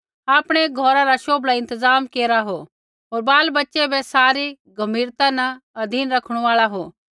आपणै घौरा रा शोभला इंतज़ाम केरा हो होर बालबच्चे बै सारी गम्भीरता न अधीन रखणू आल़ा हो